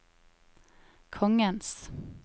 kongens